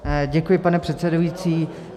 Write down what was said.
Děkuji, pane předsedající.